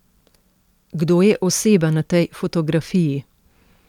Kdo je oseba na tej fotografiji?